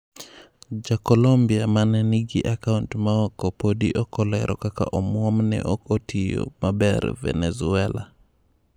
Jacolombia mane nigi akaunt ma oko podi ok olero kaka omuom ne ok otiyo maber Venezuela.